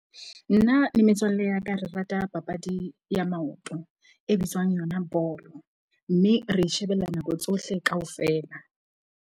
Nna le metswalle ya ka re rata papadi ya maoto e bitswang yona bolo. Mme re e shebella nako tsohle kaofela.